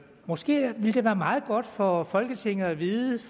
måske ville det være meget godt for folketinget at vide